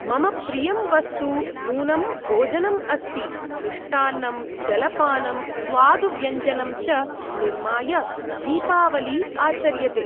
मम प्रियं वस्तु नूनं भोजनम् अस्ति। मिष्टान्नं जलपानं स्वादु व्यञ्जनं च निर्माय दीपावली आचर्यते।